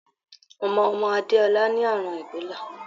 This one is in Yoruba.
Ọmọ ọmọ Adéọlá ní àrùn ẹ̀bólà.